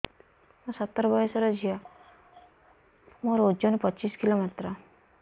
ମୁଁ ସତର ବୟସର ଝିଅ ମୋର ଓଜନ ପଚିଶି କିଲୋ ମାତ୍ର